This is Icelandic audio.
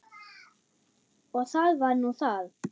Og það var nú það.